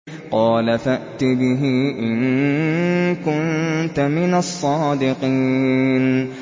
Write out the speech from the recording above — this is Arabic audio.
قَالَ فَأْتِ بِهِ إِن كُنتَ مِنَ الصَّادِقِينَ